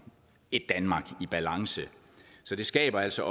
et danmark i balance så det skaber altså